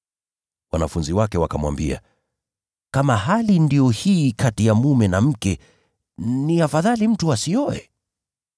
Wanafunzi wake wakamwambia, “Kama hali ndiyo hii kati ya mume na mke, ni afadhali mtu asioe!”